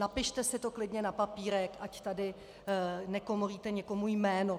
Napište si to klidně na papírek, ať tady nekomolíte někomu jméno.